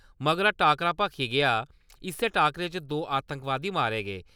मगरा टाकरा भखी पेआ इस्सै टाकरै च द'ऊं आतंकवादी मारे गे।